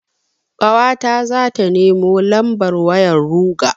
Ƙawata zata nemo lambar wayar ruger.